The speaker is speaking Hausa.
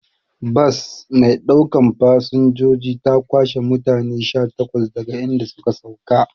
Bas maiɗaukan fasanjoji ta kwashe mutane sha takwas daga idan suka sauka